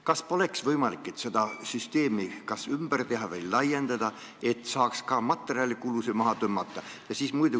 Kas poleks võimalik seda süsteemi ümber teha või laiendada, et seal saaks ka materjalikulusid maha tõmmata?